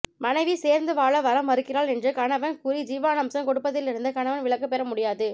மனைவி சேர்ந்து வாழ வர மறுக்கிறாள் என்று கணவன் கூறி ஜீவனாம்சம் கொடுப்பதிலிருந்து கணவன் விலக்கு பெற முடியாது